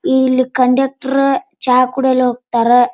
ಇಲ್ಲಿ ಕಂಡಕ್ಟರ್ ಚಾ ಕುಡಿಯಲು ಹೋಗ್ತಾರೆ.